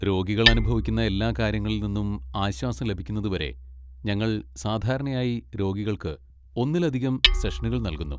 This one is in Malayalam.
രോഗികൾ അനുഭവിക്കുന്ന എല്ലാ കാര്യങ്ങളിൽ നിന്നും ആശ്വാസം ലഭിക്കുന്നതുവരെ ഞങ്ങൾ സാധാരണയായി രോഗികൾക്ക് ഒന്നിലധികം സെഷനുകൾ നൽകുന്നു.